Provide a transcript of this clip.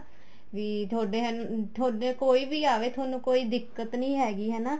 ਵੀ ਤੁਹਾਡੇ ਤੁਹਾਡੇ ਕੋਈ ਵੀ ਆਵੇ ਤੁਹਾਨੂੰ ਕੋਈ ਦਿੱਕਤ ਨਹੀਂ ਹੈਗੀ ਹਨਾ